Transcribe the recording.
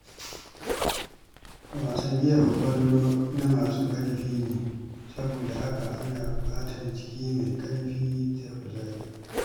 Wasan jefa ƙwallo na masu ƙarfi ne, saboda haka ana buƙatar jiki mai ƙarfi da kuzari.